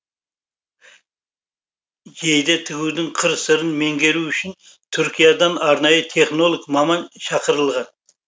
жейде тігудің қыр сырын меңгеру үшін түркиядан арнайы технолог маман шақырылған